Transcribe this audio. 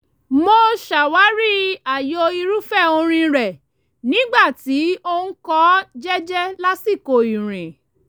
mo ṣàwárí ààyò irúfẹ́ orin rẹ̀ nígbà tí ó ń kọ́ ọ jẹ́jẹ́ lásìkò ìrìn